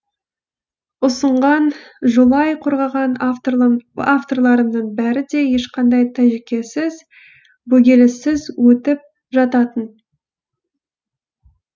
ұсынған жолай қорғаған авторларымның бәрі де ешқандай тәжікесіз бөгеліссіз өтіп жататын